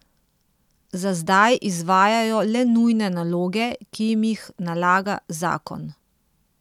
Za zdaj izvajajo le nujne naloge, ki jim jih nalaga zakon.